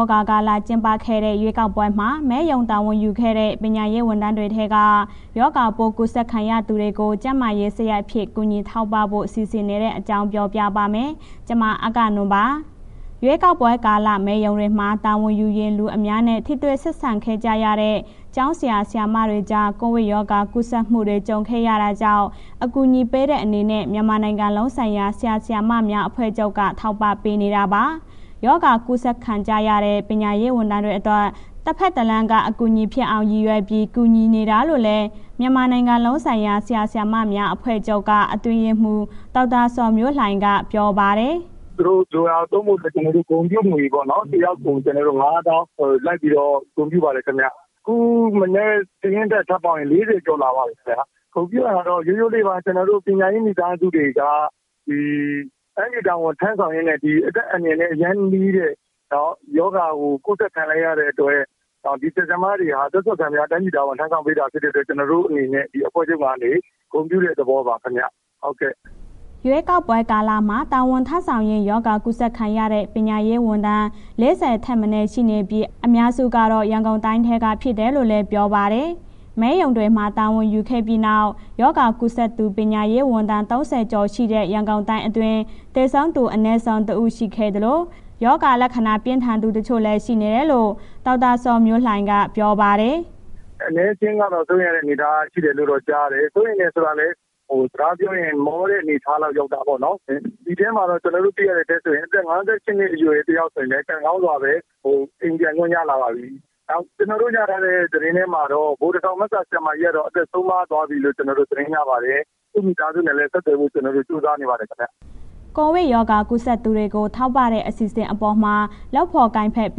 ောဂါကာလ ကျင်းပခဲ့တဲ့ ရွေးကောက်ပွဲမှာ မဲရုံတာဝန်ယူခဲ့တဲ့ ပညာရေးဝန်ထမ်းတွေထဲက ရောဂါပိုးကူးစက်ခံရသူတွေကို ကျန်းမာရေးစရိတ်အဖြစ် ကူညီထောက်ပံ့ဖို့ စီစဉ်နေတဲ့အကြောင်း ပြောပြပါမယ်။ ဗွီအိုအေမြန်မာပိုင်း သတင်းထောက် မအဂ္ဂနွန်က သတင်းပေးပို့ထားပါတယ်။ ရွေးကောက်ပွဲကာလ မဲရုံတွေမှာ တာဝန်ယူရင်း လူအများနဲ့ ထိတွေ့ဆက်ဆံခဲ့ကြရတဲ့ ကျောင်းဆရာ၊ ဆရာမတွေကြား ကိုဗစ်ရောဂါ ကူးစက်မှုတွေ ကြုံခဲ့ရတာကြောင့် အကူအညီပေးတဲ့ အနေနဲ့ မြန်မာနိုင်ငံလုံးဆိုင်ရာ ဆရာ၊ ဆရာမများအဖွဲ့ချုပ်က ထောက်ပံ့ပေးနေတာပါ။ ရောဂါကူးစက်ခံကြရတဲ့ ပညာရေးဝန်ထမ်းတွေအတွက် တဘက်တလမ်းက အထောက်အကူဖြစ်အောင် ရည်ရွယ်ပြီး ကူညီနေတာလို့လည်း မြန်မာနိုင်ငံလုံးဆိုင်ရာ ဆရာ၊ ဆရာမများအဖွဲ့ချုပ်က အတွင်းရေးမှူး ဒေါက်တာဇော်မျိုးလှိုင်က ပြောပါတယ်။ “သူတို့ လိုတာ သုံးဖို့အတွက် ကျနော်တို့ ဂုဏ်ပြုငွေပေါ့နော် တစ်ယောက်ကို ၅၀,၀၀၀ လိုက်ပြီး ဂုဏ်ပြုပါတယ်ခင်ဗျ။ အခုမနက် စာရင်းတက်ထပ်ပေါင်းရင် ၄၀ ကျော်လာပါပြီခင်ဗျာ။ ဂုဏ်ပြုတာတော့ ရိုးရိုးလေးပါ... ကျနော်တို့ ပညာရေးမိသားစုတွေက ဒီတိုင်းပြည်တာဝန်ထမ်းဆောင်ရင်းနဲ့ ဒီအသက်အန္တရာယ် အရမ်းနီးတဲ့ရောဂါကို ကူးစက်ခံလိုက်ရတဲ့အတွက် ဒီဆရာ၊ ဆရာမတွေက အသက်စွန့်ခံပြီး တိုင်းပြည်တာဝန် ထမ်းဆောင်ပေးတဲ့အတွက် ကျနော်တို့အနေနဲ့ အဖွဲ့ချုပ်ကနေ ဂုဏ်ပြုတဲ့ သဘောပါခင်ဗျာ။” ရွေးကောက်ပွဲကာလမှာ တာဝန်ထမ်းဆောင်ရင်း ရောဂါကူးစက်ခံရတဲ့ ပညာရေးဝန်ထမ်း ၄၀ ထက်မနည်း ရှိနေပြီး အများစုကတော့ ရန်ကုန်တိုင်းက ဖြစ်တယ်လို့လည်း ပြောပါတယ်။ မဲရုံတွေမှာ တာဝန်ယူခဲ့ပြီးနောက် ရောဂါကူးစက်သူ ပညာရေးဝန်ထမ်း ၃၀ ကျော် ရှိနေတဲ့ ရန်ကုန်တိုင်းအတွင်း သေဆုံးသူအနည်းဆုံး ၁ ဦး ရှိခဲ့သလို၊ ရောဂါလက္ခဏာ ပြင်းထန်သူ တချို့လည်း ရှိနေတယ်လို့ ဒေါက်တာဇော်မျိုးလှိုင်က ပြောပါတယ်။ “အနည်းအကျဉ်းကတော့ စိုးရိမ်ရတဲ့အနေအထားတော့ ကြားရတယ်၊ စိုးရိမ်တယ်ဆိုတာလည်း စကားပြောရင်း မောတဲ့ အနေအထားလောက်ရောက်တာပေါ့နော်။ အဲ့ဒီမှာတော့ ကျနော်တို့တွေ့ရတဲ့အထဲဆိုရင် အသက် ၅၈ နှစ်အရွယ် တစ်ယောက်ဆိုရင်လည်း ကံကောင်းစွာပဲ အိမ်ပြန်ခွင့်ရလာပါပြီ။ နောက် ကျနော်တို့ရထားတဲ့ သတင်းထဲမှာတော့ ဗိုလ်တထောင်ဘက်က ဆရာမကြီးကတော့ အသက်ဆုံးပါးသွားပြီလို့ ကျနော်တို့ သတင်းရပါတယ်။ သူ့မိသားစုနဲ့ ဆက်သွယ်ဖို့ ကျနော်တို့ ကြိုးစားနေပါတယ်။” ကိုဗစ်ရောဂါကူးစက်သူတွေကို ထောက်ပံ့တဲ့ အစီအစဉ်အပေါ်မှာတော့ လုပ်ဖော်ကိုင်ဖက် ပ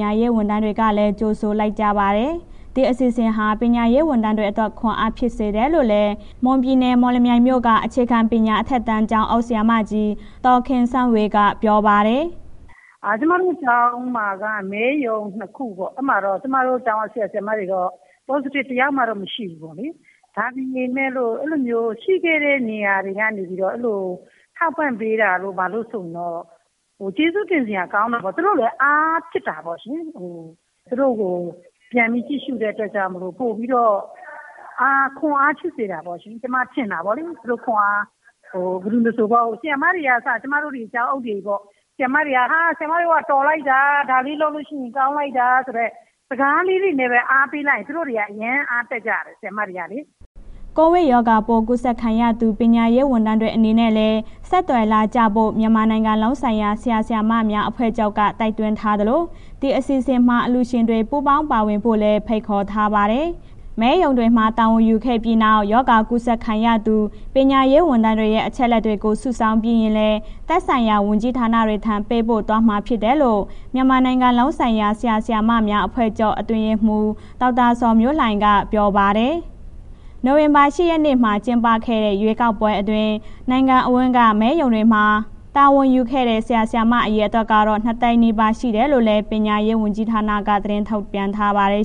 ညာရေးဝန်ထမ်းတွေကလည်း ကြိုဆိုလိုက်ကြပါတယ်။ ဒီအစီအစဉ်ဟာ ပညာရေးဝန်ထမ်းတွေအတွက် ခွန်အားဖြစ်စေတယ်လို့လည်း မွန်ပြည်နယ် မော်လမြိုင်မြို့က အခြေခံပညာ အထက်တန်း ကျောင်းအုပ်ဆရာမကြီး ဒေါ်ခင်စန်းဝေက ပြောပါတယ်။ “ကျမတို့ ကျောင်းမှာက မဲရုံ ၂ ခုပေါ့၊ အဲ့မှာတော့ ကျမတို့ကျောင်းက ဆရာ၊ ဆရာမတွေတော့ positive တစ်ယောက်မှမရှိဘူးပေါ့လေ။ ဒါပေမဲ့ အဲ့လိုမျိုးရှိခဲ့တဲ့ နေရာတွေထဲကနေပြီးတော့ အဲ့ဒီလိုထောက်ပံ့ပေးတာ ဘာတို့ဆိုရင်တော့ ကျေးဇူးတင်စရာကောင်းတယ်ပေါ့။ သူတို့လည်း အားဖြစ်တာပေါ့ရှင်။ သူတို့ကို ပြန်ပြီးကြည့်ရှုတဲ့အတွက်ကြောင့်မို့လို့ ပိုပြီးတော့ ခွန်အားရှိစေတယ်ပေါ့ရှင်... ကျမထင်တာပေါ့။ ဘယ်သူမဆို ဆရာမတွေက အစ ကျမတို့ ကျောင်းအုပ်တွေပေါ့။ ဟာ... ဆရာမတွေက တော်လိုက်တာ ဒါလေးလုပ်လို့ရှိရင် ကောင်းလိုက်တာ စကားလေးနဲ့ပဲ အားပေးလိုက်ရင် သူတို့တွေ အရမ်းအားတက်ကြတယ် ဆရာမတွေကလေ။” ကိုဗစ်ရောဂါပိုး ကူးစက်ခံရသူ ပညာရေးဝန်ထမ်းတွေ အနေနဲ့လည်း ဆက်သွယ်လာကြဖို့ မြန်မာနိုင်ငံလုံးဆိုင်ရာ ဆရာ၊ ဆရာမများ အဖွဲ့ချုပ်က တိုက်တွန်းထားသလို၊ အစီအစဉ်မှာ အလှူရှင်တွေ ပူပေါင်းပါဝင်ဖို့လည်း ဖိတ်ခေါ်ထားပါတယ်။ မဲရုံတွေမှာ တာဝန်ယူခဲ့ပြီးနောက် ရောဂါကူးစက်ခံရသူ ပညာရေးဝန်ထမ်းတွေရဲ့ အချက်အလက်တွေကို စုဆောင်းပြီးရင်လည်း သက်ဆိုင်ရာ ဝန်ကြီးဌာနတွေထံ ပေးပို့သွားမှာဖြစ်တယ်လို့ မြန်မာနိုင်ငံလုံးဆိုင်ရာ ဆရာ ဆရာမများအဖွဲ့ချုပ် အတွင်းရေးမှူး ဒေါက်တာဇော်မျိုးလှိုင်က ပြောပါတယ်။ နိုဝင်ဘာလ ၈ ရက်နေ့မှာ ကျင်းပခဲ့တဲ့ ရွေးကောက်ပွဲအတွင်း နိုင်ငံအဝန်းက မဲရုံတွေမှာ တာဝန်ယူခဲ့တဲ့ ဆရာ၊ ဆရာမ အရေအတွက်ကတော့ ၂၀၀,၀၀၀ နီးပါး ရှိတယ်လို့လည်း ပညာရေးဝန်ကြီးဌာနက သတင်းထုတ်ပြန်ထားပါတယ်